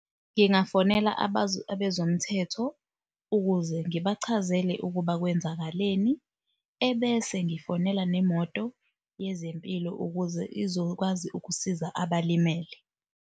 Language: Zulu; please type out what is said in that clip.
Ngingafonela abezomthetho ukuze ngibachazele ukuba kwenzakaleni, ebese ngifonela nemoto yezempilo ukuze izokwazi ukusiza abalimele.